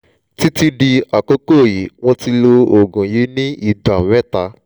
títí di àkókò yìí mo ti lo oògùn yìí ní ìgbà mẹ́ta